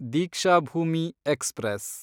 Deekshabhoomi express